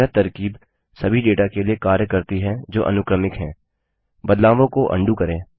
यह तरकीब सभी डेटा के लिए कार्य करती है जो अनुक्रमिक हैंबदलावों को अंडू करें